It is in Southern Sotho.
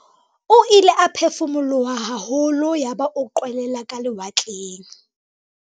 o ile a phefumoloha haholo yaba o qwelela ka lewatleng